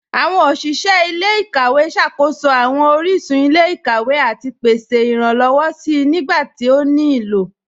Awọn oṣiṣẹ ilẹ̀-ikawẹ̀ ṣákóṣọ awọn oríṣun ilẹ̀-ikawẹ̀ àti pèsè iránlọ́wọ̀ sí nígbàtí ó ní ilọ́.